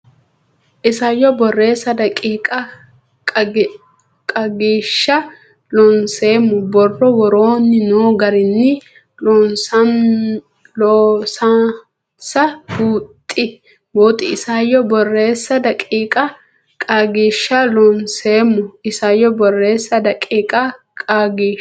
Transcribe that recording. Isayyo Borreessa daqiiqa Qaagiishsha Loonseemmo borro woroonni noo garinni loosansa buuxi Isayyo Borreessa daqiiqa Qaagiishsha Loonseemmo Isayyo Borreessa daqiiqa Qaagiishsha.